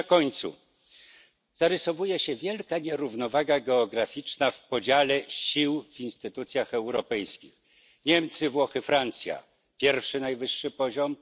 Na zakończenie zarysowuje się wielka nierównowaga geograficzna w podziale sił w instytucjach europejskich Niemcy, Włochy, Francja to pierwszy, najwyższy poziom